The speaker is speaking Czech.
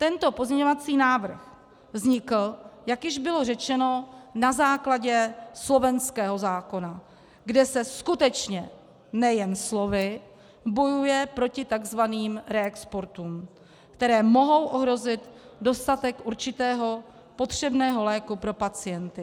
Tento pozměňovací návrh vznikl, jak již bylo řečeno, na základě slovenského zákona, kde se skutečně, nejen slovy, bojuje proti tzv. reexportům, které mohou ohrozit dostatek určitého potřebného léku pro pacienty.